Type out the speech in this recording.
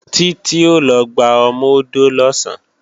Títí ó lọ gba ọmọ-odó lọ̀sán